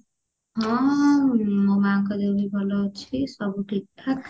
ହଁ ମୋ ମାଙ୍କ ଦେହ ବି ଭଲ ଅଛି ସବୁ ଠିକଠାକ